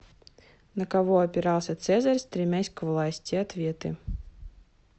на кого опирался цезарь стремясь к власти ответы